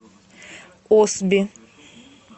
осби